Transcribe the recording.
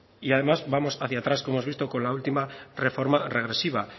y además vamos hacia atrás como hemos visto con la última reforma regresiva